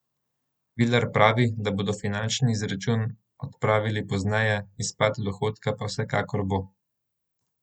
Vilar pravi, da bodo finančni izračun opravili pozneje, izpad dohodka pa vsekakor bo.